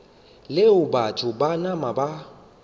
leo batho ba nama ba